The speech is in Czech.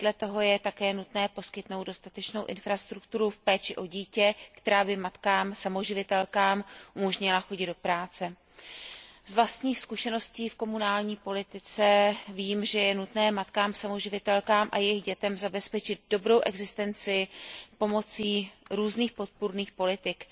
Vedle toho je také nutné poskytnout dostatečnou infrastrukturu v péči o dítě, která by matkám samoživitelkám umožnila chodit do práce. Z vlastních zkušeností v komunální politice vím, že je nutné matkám samoživitelkám a jejich dětem zabezpečit dobrou existenci pomocí různých podpůrných politik.